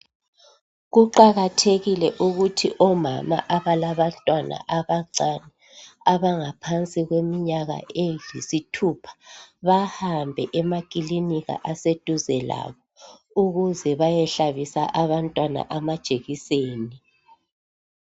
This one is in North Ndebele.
Kuqakathekile ukuthi omama abalabantwana abancane abangaphansi kweminyaka eyisithupha bahambe emaklinika aseduze labo ukuze bayehlabisa abantwana amajekiseni